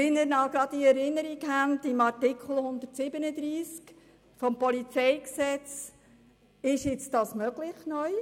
Wie Sie sich erinnern können, wird dies dank Artikel 137 PolG neu möglich sein.